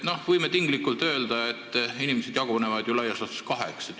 Me võime tinglikult öelda, et inimesed jagunevad laias laastus kaheks.